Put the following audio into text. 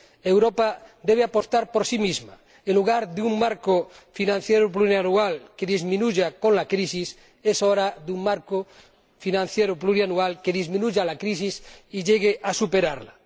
Europa debe apostar por sí misma en lugar de un marco financiero plurianual que disminuya con la crisis, es hora de un marco financiero plurianual que disminuya la crisis y llegue a superarla.